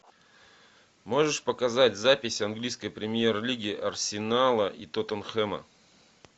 можешь показать запись английской премьер лиги арсенала и тоттенхэма